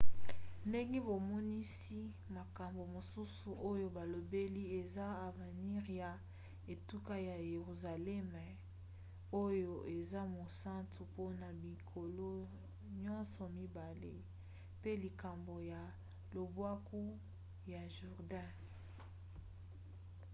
ndenge bamonisi makambo mosusu oyo balobeli ezala avenire ya etuka ya yeruzaleme oyo eza mosantu mpona bikolo nyonso mibale pe likambo ya lobwaku ya jourdain